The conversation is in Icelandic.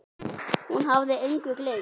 Hún hafði engu gleymt.